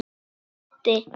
Hver átti?